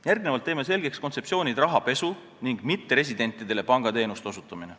Järgnevalt teeme selgeks kontseptsioonid "rahapesu" ning "mitteresidentidele pangateenuste osutamine".